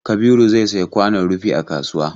Kabiru zai sayi kwanon rufi a kasuwa.